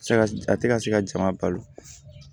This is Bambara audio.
Se ka a tɛ ka se ka jama balo